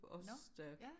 Nå ja?